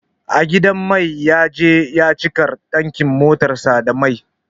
A gidan mai ya je ya cika tankin motar sa da mai